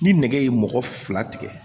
Ni nɛgɛ ye mɔgɔ fila tigɛ